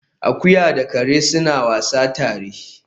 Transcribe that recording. Akuya da kare suna wasa tare